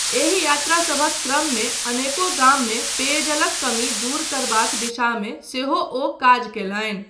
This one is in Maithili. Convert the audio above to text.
एहि यात्रा सभक क्रममे अनेको गाममे पेयजलक कमी दूर करबाक दिशामे सेहो ओ काज कयलनि।